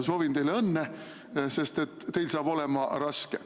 Soovin teile õnne, sest teil saab olema raske.